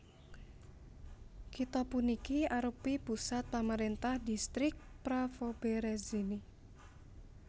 Kitha puniki arèupi pusat pamaréntahan Distrik Pravoberezhny